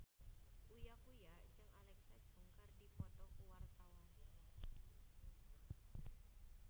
Uya Kuya jeung Alexa Chung keur dipoto ku wartawan